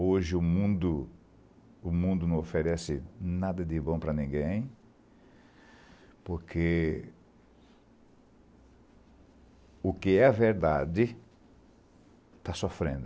Hoje o mundo o mundo não oferece nada de bom para ninguém, porque o que é verdade está sofrendo.